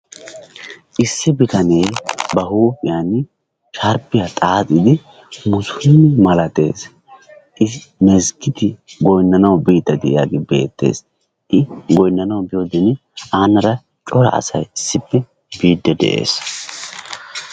issi bitanee ba huuphiyan sharbiya xaaxidi diyagee misiliime milatees, i mazgiididya goynanawu biidid diyagee beetees, i goynanawu biyiode aara cora asay biidi de'ees.